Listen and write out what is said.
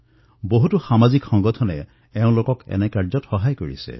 বিভিন্ন সামাজিক সংস্থাইও তেওঁলোকক সহযোগ কৰিছে